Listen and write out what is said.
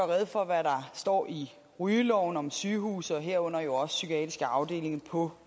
rede for hvad der står i rygeloven om sygehuse og herunder jo også psykiatriske afdelinger på